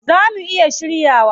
Zaa mu iya shiryawa?